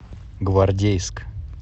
гвардейск